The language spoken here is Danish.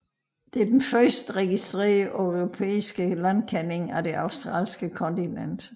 Det er den første registrerede europæiske landkending af det australske kontinent